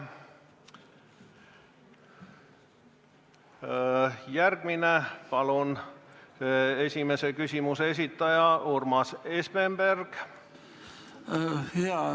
Palun, esimese küsimuse esitaja Urmas Espenberg!